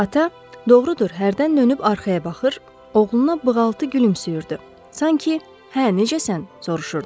Ata, doğrudur, hərdən dönüb arxaya baxır, oğluna bığaltı gülümsüyürdü, sanki "hə, necəsən?" soruşurdu.